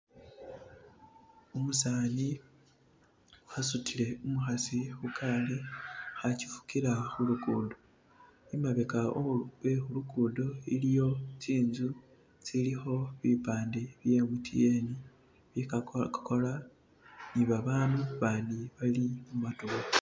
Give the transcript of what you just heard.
umusani asutile umuhasi hukali achifukila hulukudo imabeka wehulukudo iliyo tsinzu tsiliho bipande bya M T N byakokakola ni babanu bani bali